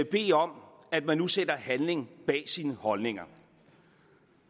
bede om at man nu sætter handling bag sine holdninger